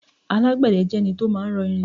alágbède jẹ́ ẹni tí ó ma ń rọ irin